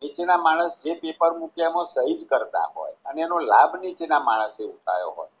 નીતિના માણસ જે પેપર મુખ્યમાં સહી કરતા હોય અને એનો લાભ નીચેના માણસે ઉઠાવ્યો હોય